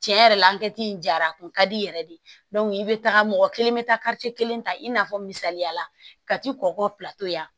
Tiɲɛ yɛrɛ la in jara a kun ka di i yɛrɛ de ye i bɛ taga mɔgɔ kelen bɛ taa kelen ta i n'a fɔ misaliya la ka t'i kɔkɔ yan